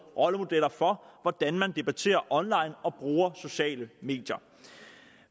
rollemodeller for hvordan man debatterer online og bruger sociale medier